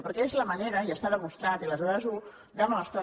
perquè és la manera i està demostrat i les dades ho demostren